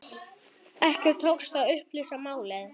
Ekki tókst að upplýsa málið.